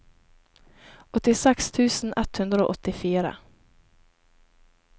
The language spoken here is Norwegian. åttiseks tusen ett hundre og åttifire